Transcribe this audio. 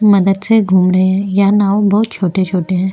मदद से घूम रहे है यह नाओ बहोत छोटे-छोटे है।